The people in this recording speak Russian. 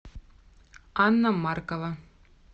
анна маркова